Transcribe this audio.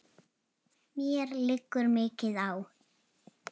Mér liggur mikið á!